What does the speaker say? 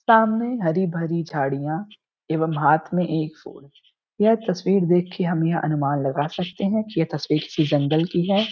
सामने हरी भरी झाड़ियां एवं हाथ में एक फूल यह तस्वीर देख के हम यह अनुमान लगा सकते हैं कि यह तस्वीर किसी जंगल की है।